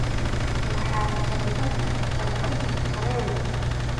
waxaad dalban kartaa tigidh tareen